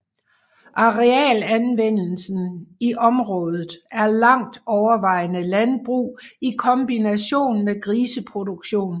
Arealanvendelsen i området er langt overvejende landbrug i kombination med griseproduktion